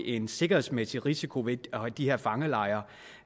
en sikkerhedsmæssig risiko ved de her fangelejre